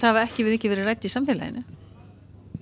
hafa ekki mikið verið rædd í samfélaginu